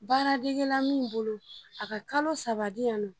Baaradegela min bolo a ka kalo saba di yan nɔ